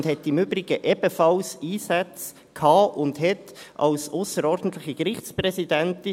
Sie hatte und hat im Übrigen ebenfalls Einsätze als ausserordentliche Gerichtspräsidentin.